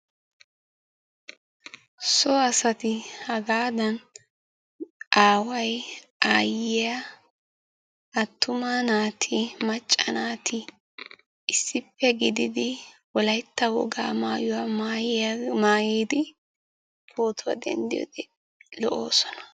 So asati hagaadan aaway, aayyiya, attuma naati, macca naati issippe gididi wolaytta wogaa maayuwa maayidi pootuwa denddiyode lo'oosona.